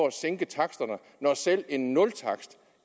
at sænke taksterne når selv en nultakst